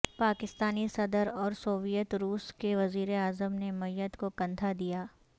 پاکستانی صدر اور سوویت روس کے وزیر اعظم نے میت کو کندھا دیا